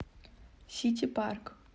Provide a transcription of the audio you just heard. сити парк